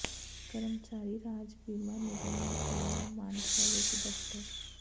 ਕਰਮਚਾਰੀ ਰਾਜ ਬੀਮਾ ਨਿਗਮ ਨੇ ਖੋਲ੍ਹਿਆ ਮਾਨਸਾ ਵਿੱਚ ਦਫ਼ਤਰ